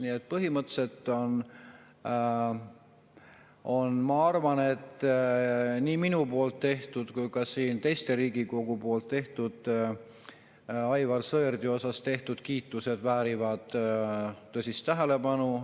Nii et põhimõtteliselt, ma arvan, et nii minu tehtud kui ka teiste Riigikogu tehtud kiitus Aivar Sõerdi suunas väärib tõsist tähelepanu.